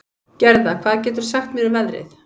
Gerða, hvað geturðu sagt mér um veðrið?